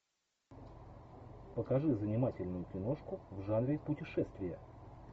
покажи занимательную киношку в жанре путешествия